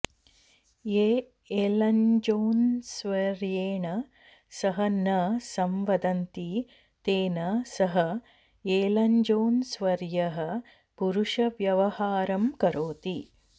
ये एलन्जोन्स्वर्येण सह न संवदन्ति तेन सह एलन्जोन्स्वर्यः परुषव्यवहारं करोति